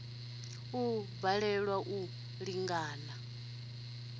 u a balelwa u ḓilanga